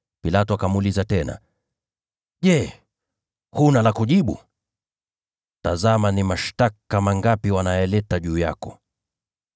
Pilato akamuuliza tena, “Je, huna la kujibu? Tazama ni mashtaka mangapi wanayaleta juu yako.”